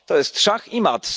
To jest szach i mat.